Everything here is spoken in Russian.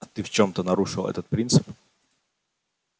а ты в чём-то нарушил этот принцип